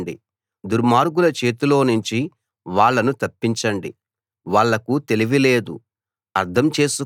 పేదలనూ దరిద్రులనూ విడిపించండి దుర్మార్గుల చేతిలోనుంచి వాళ్ళను తప్పించండి